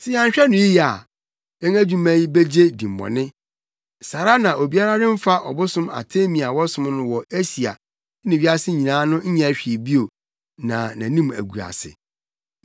Sɛ yɛanhwɛ no yiye a, yɛn adwuma yi begye dimmɔne. Saa ara na obiara remfa ɔbosom Artemi a wɔsom no wɔ Asia ne wiase nyinaa no nyɛ hwee bio na nʼanim agu ase.”